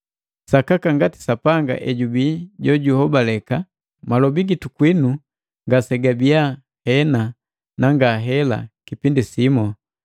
Sakaka ngati Sapanga ejubii jojuhobaleka, malobi gitu kwinu ngasegabii, “Hena na ngahela” Kukipindi simu.